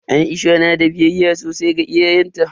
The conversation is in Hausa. Aisha na da biyayya sosai ga iyayenta.